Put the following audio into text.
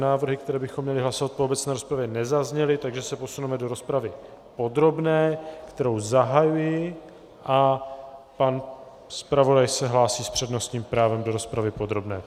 Návrhy, které bychom měli hlasovat po obecné rozpravě, nezazněly, takže se posuneme do rozpravy podrobné, kterou zahajuji, a pan zpravodaj se hlásí s přednostním právem do rozpravy podrobné.